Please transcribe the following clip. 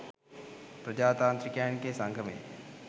ප්‍රජාතාන්ත්‍රිකයන්ගේ සංගමයේ